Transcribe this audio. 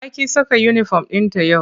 Ta ƙi saka uniform ɗinta yau.